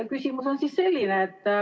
Küsimus on selline.